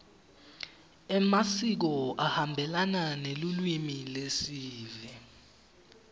emasiko ahambelana nelulwimi lesive